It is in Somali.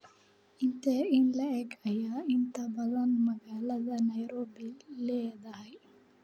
intee in le'eg ayay inta badan magaalada nairobi leedahay?